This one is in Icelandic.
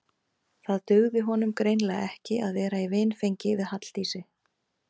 Það dugði honum greinilega ekki að vera í vinfengi við Halldísi.